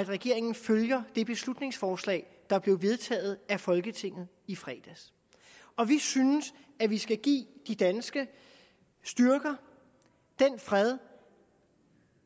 at regeringen følger det beslutningsforslag der blev vedtaget af folketinget i fredags og vi synes at vi skal give de danske styrker den fred